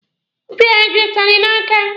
Ọ pịara gị ụtalị n'aka?